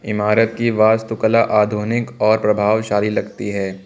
इमारत की वास्तु कला आधुनिक और प्रभावशाली लगती है।